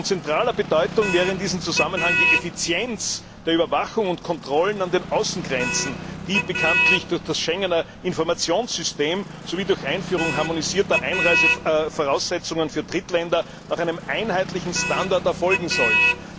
Von zentraler Bedeutung wäre in diesem Zusammenhang die Effizienz der Überwachung und Kontrollen an den Außengrenzen, die bekanntlich durch das Schengener Informationssystem sowie durch die Einführung harmonisierter Einreisevoraussetzungen für Drittländer nach einem einheitlichen Standard erfolgen sollen.